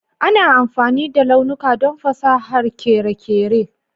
Ana amfani da launuka don fasahar kere kere